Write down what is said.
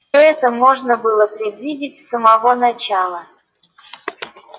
все это можно было предвидеть с самого начала